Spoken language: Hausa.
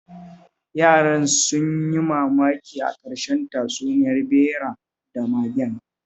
Yaran sun yi mamaki a ƙarshen tatsuniyar ɓera da magen